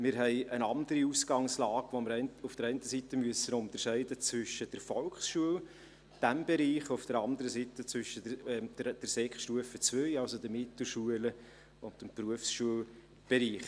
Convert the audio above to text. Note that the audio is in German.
Wir haben eine andere Ausgangslage, bei der wir auf der einen Seite in diesem Bereich unterscheiden müssen zwischen der Volksschule, auf der anderen Seite zwischen der Sekundarstufe II, also den Mittelschulen, und dem Berufsschulbereich.